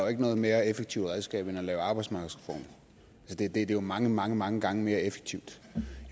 jo ikke noget mere effektivt redskab end at lave arbejdsmarkedsreformer det er mange mange mange gange mere effektivt